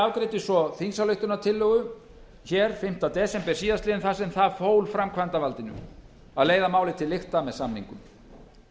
afgreiddi svo þingsályktunartillögu hér fimmta desember síðastliðnum þar sem það fólk framkvæmdarvaldinu að leiða málið til lykta með samningum